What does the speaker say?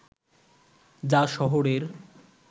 যা শহরের